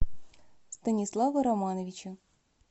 станислава романовича